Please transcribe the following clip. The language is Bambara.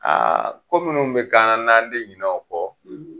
Aa ko munnu be k'an na n'an ti ɲinɛ o kɔ